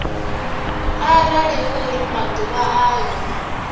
arali hu uri maḓuvha ayo